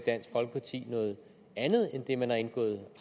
dansk folkeparti noget andet end det man har indgået